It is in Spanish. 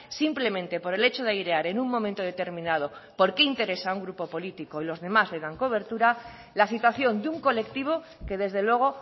simplemente por el hecho de airear en un momento determinado porque interesa a un grupo político y los demás le dan cobertura la situación de un colectivo que desde luego